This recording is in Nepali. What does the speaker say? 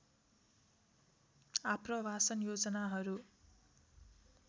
आप्रवासन योजनाहरू